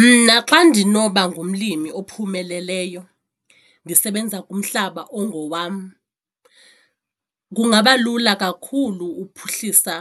Mna xa ndinoba ngumlimi ophumeleleyo ndisebenza kumhlaba ongowam kungaba lula kakhulu uphuhlisa